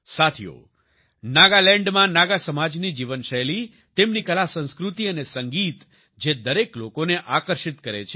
સાથીઓ નાગાલેન્ડમાં નાગા સમાજની જીવનશૈલી તેમની કલાસંસ્કૃતિ અને સંગીત જે દરેક લોકોને આકર્ષિત કરે છે